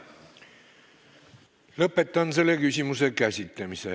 Lõpetan selle küsimuse käsitlemise.